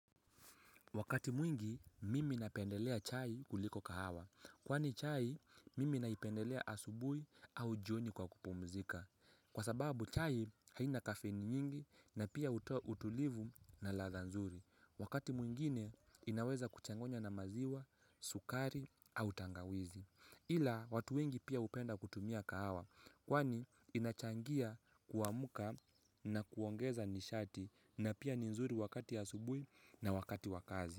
Wakati mwingi, mimi napendelea chai kuliko kahawa. Kwani chai, mimi napendelea asubuhi au jioni kwa kupumzika. Kwa sababu chai haina kafeini nyingi na pia utulivu na ladha nzuri. Wakati mwingine, inaweza kuchanganywa na maziwa, sukari au tangawizi. Ila, watu wengi pia hupenda kutumia kahawa. Kwani inachangia kuamka na kuongeza nishati na pia ni nzuri wakati asubuhi na wakati wa kazi.